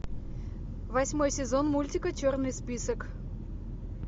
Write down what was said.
восьмой сезон мультика черный список